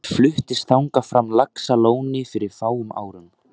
Hann fluttist þangað frá Laxalóni fyrir fáum árum.